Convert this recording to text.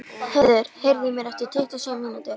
Höður, heyrðu í mér eftir tuttugu og sjö mínútur.